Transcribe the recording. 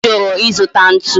Ojuru izuta ntu?